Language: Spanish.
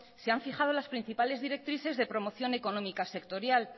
se han fijado las principales directrices de promoción económicas sectorial